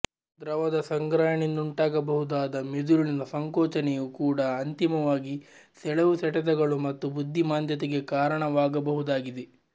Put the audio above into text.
ದ್ರವದ ಸಂಗ್ರಹಣೆಯಿಂದುಂಟಾಗಬಹುದಾದ ಮಿದುಳಿನ ಸಂಕೋಚನೆಯೂ ಕೂಡಾ ಅಂತಿಮವಾಗಿ ಸೆಳೆವುಸೆಟೆತಗಳು ಮತ್ತು ಬುದ್ಧಿ ಮಾಂದ್ಯತೆಗೆ ಕಾರಣವಾಗಬಹುದಾಗಿದೆ